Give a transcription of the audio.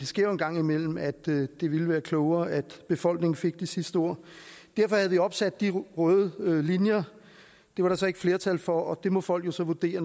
sker jo en gang imellem at det ville være klogere at befolkningen fik det sidste ord derfor havde vi opsat de røde linjer det var der så ikke flertal for og det må folk jo så vurdere